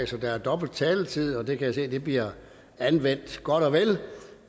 så der er dobbelt taletid og det kan jeg se bliver anvendt godt og vel